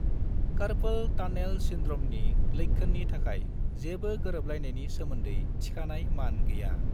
Carpel tunnel सिन्ड्रमनि लोक्षोननि थाखाय जेबो गोरोबलायनायनि सोमोन्दै थिखानाय मान गैया।